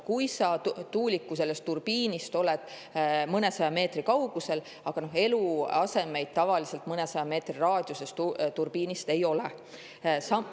Kui sa tuuliku turbiinist oled mõnesaja meetri kaugusel,, aga eluasemeid tavaliselt mõnesaja meetri raadiuses turbiinist ei ole.